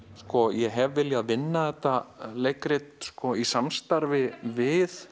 ég hef viljað vinna þetta leikrit í samstarfi við